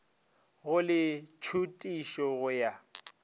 go le tšhutišo go ya